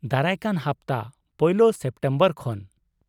ᱫᱟᱨᱟᱭ ᱠᱟᱱ ᱦᱟᱯᱛᱟ, ᱯᱳᱭᱞᱳ ᱥᱮᱯᱴᱮᱢᱵᱚᱨ ᱠᱷᱚᱱ ᱾